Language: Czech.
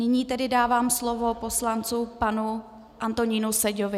Nyní tedy dávám slovo poslanci panu Antonínu Seďovi.